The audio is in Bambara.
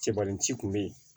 Cɛbalinci kun bɛ yen